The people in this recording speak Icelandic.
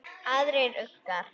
Aðrir uggar